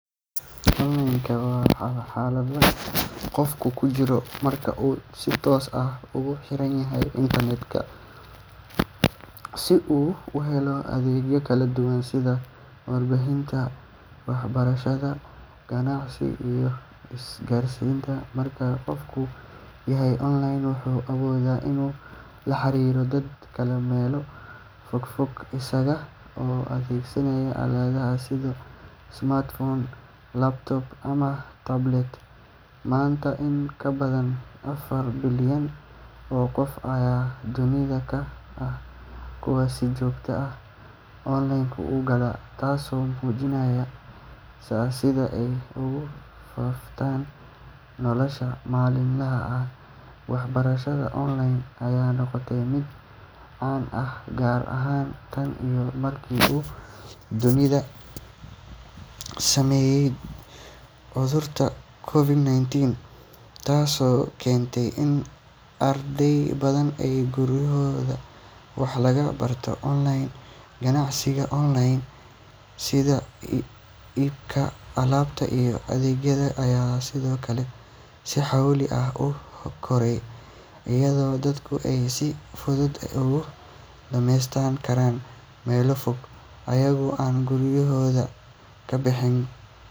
Online waa xaalad qofku ku jiro marka uu si toos ah ugu xiran yahay internet-ka si uu u helo adeegyo kala duwan sida warbaahinta, waxbarashada, ganacsiga iyo isgaarsiinta. Marka qofku yahay online, wuxuu awoodaa inuu la xiriiro dad kale meelo fogfog isaga oo adeegsanaya aaladaha sida smartphone, laptop ama tablet. Maanta, in ka badan afar bilyan oo qof ayaa dunida ka ah kuwa si joogto ah online u gala, taasoo muujinaysa sida ay ugu faaftay nolosha maalinlaha ah. Waxbarashada online ayaa noqotay mid caan ah gaar ahaan tan iyo markii uu dunida saameeyay cudurka COVID-19, taasoo keentay in arday badan ay gurigooda wax kaga bartaan online. Ganacsiga online sida iibka alaabta iyo adeegyada ayaa sidoo kale si xowli ah u koraya, iyadoo dadku ay si fudud uga dukaameysan karaan meelo fog iyagoo aan gurigooda ka bixin